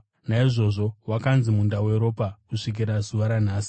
Naizvozvo wakanzi Munda Weropa kusvikira zuva ranhasi.